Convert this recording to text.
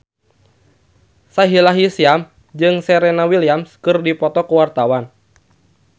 Sahila Hisyam jeung Serena Williams keur dipoto ku wartawan